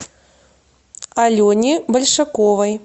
алене большаковой